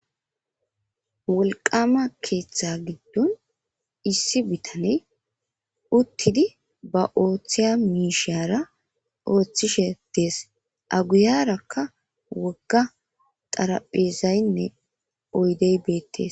wolqama keeththa giddon issi bitaney uttidi ba ooththiya miishiyara ooththishe dees aguyarakka wogga xaraphezaynne oydey beettes